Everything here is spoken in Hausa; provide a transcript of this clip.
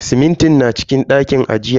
Simintin na cikin ɗakin ajiya.